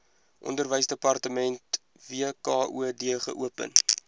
onderwysdepartement wkod geopen